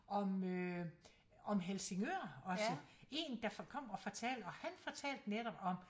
Om øh om Helsingør også én der kom og fortalte og han fortalte netop om